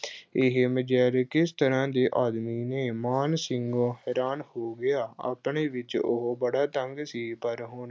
ਇਹੇ ਮਝੈਲ ਕਿਸ ਤਰ੍ਹਾਂ ਦੇ ਆਦਮੀ ਨੇ, ਮਾਨ ਸਿੰਘ ਹੈਰਾਨ ਹੋ ਗਿਆ, ਆਪਣੇ ਵਿੱਚ ਉਹੋ ਬੜਾ ਤੰਗ ਸੀ ਪਰ ਹੁਣ